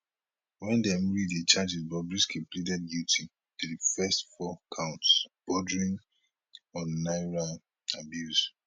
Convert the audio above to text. wen dem read di charges bobrisky pleaded guilty to di first four counts bordering on naira abuse